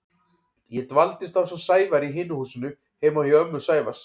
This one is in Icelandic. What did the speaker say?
Ég dvaldi ásamt Sævari í hinu húsinu heima hjá ömmu Sævars.